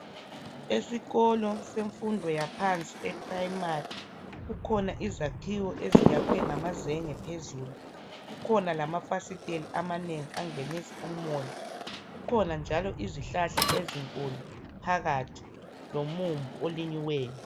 Esikolo semfundo yaphansi eprimari kukhona izakhiwo eziyakhiwe ngamazenge phezulu, kukhona lamafasitela amanengi angenisa umoya, kukhona njalo izihlahla ezinkulu phakathi lomumbu lonyiweyo.